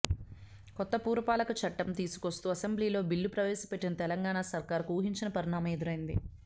కొత్త పురపాలక చట్టం తీసుకొస్తూ అసెంబ్లీలో బిల్లు ప్రవేశపెట్టిన తెలంగాణ సర్కార్కు ఊహించని పరిణామం ఎదురైంది